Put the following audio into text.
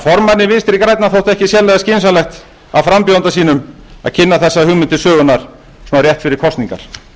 formanni vinstri grænna þótti ekki sérlega skynsamlegt af frambjóðanda sínum að kynna þessa hugmynd til sögunnar svona rétt fyrir kosningar